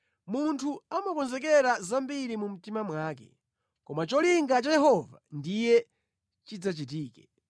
Munthu amakonzekera zambiri mu mtima mwake, koma cholinga cha Yehova ndiye chidzachitike.